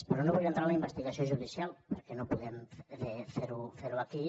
però no vull entrar en la investigació judicial perquè no podem fer ho aquí